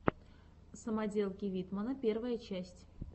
самоделки витмана первая часть